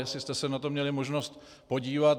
Jestli jste se na to měli možnost podívat.